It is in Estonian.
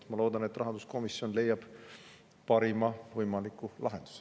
Ma loodan, et rahanduskomisjon leiab parima võimaliku lahenduse.